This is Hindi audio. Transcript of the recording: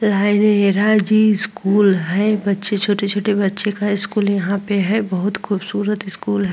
लाइदेरा जी स्कूल है बच्चे छोटे बच्चे का स्कूल यहाँ पे है बहुत खूबसूरत स्कूल है।